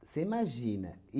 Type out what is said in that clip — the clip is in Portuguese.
Você imagina.